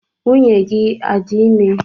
Nwunye gị adị ime?